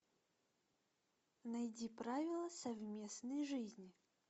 найди правила совместной жизни